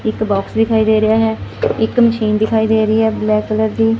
ਇੱਕ ਬੌਕਸ ਦਿਖਾਈ ਦੇ ਰਿਹਾ ਹੈ ਇੱਕ ਮਸ਼ੀਨ ਦਿਖਾਈ ਦੇ ਰਹੀ ਹੈ ਬਲੈਕ ਕਲਰ ਦੀ।